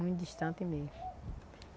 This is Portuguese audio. Muito distante mesmo.